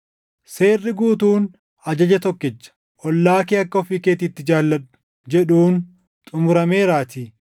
Seerri guutuun ajaja tokkicha, “Ollaa kee akka ofii keetiitti jaalladhu” + 5:14 \+xt Lew 19:18\+xt* jedhuun xumurameeraatii.